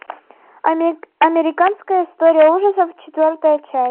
американская история ужасов четвертая часть